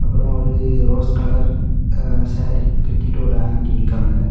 அப்புறம் ஒரு rose colour sari கட்டிட்டு ஒரு ஆண்ட்டி நிக்கங்க.